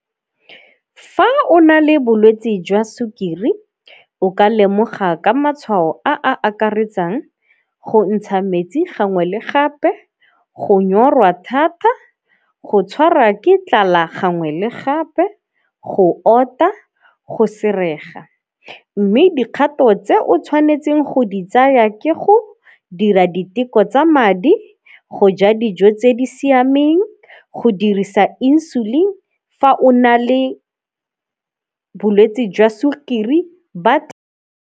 Fa o na le bolwetsi jwa sukiri o ka lemoga ka matshwao a a akaretsang go ntsha metsi gangwe le gape, go nyorwa thata, go tshwara ke tlala gangwe le gape, go ota, go . Mme dikgato tse o tshwanetseng go di tsaya ke go dira diteko tsa madi, go ja dijo tse di siameng, go dirisa insulin fa o na le bolwetsi jwa sukiri .